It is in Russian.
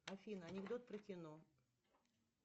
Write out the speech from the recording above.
афина анекдот про кино